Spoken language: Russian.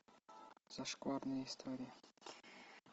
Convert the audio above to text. зашкварные истории